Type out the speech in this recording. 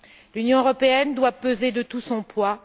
L'Union européenne doit peser de tout son poids.